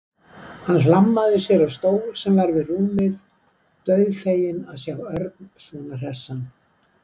Hann hlammaði sér á stól sem var við rúmið, dauðfeginn að sjá Örn svona hressan.